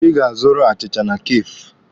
Ị ga-azụrụ achịcha na Kafee!